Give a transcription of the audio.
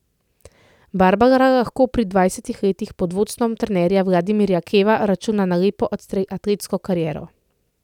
Barbara lahko pri dvajsetih letih pod vodstvom trenerja Vladimirja Keva računa na lepo atletsko kariero.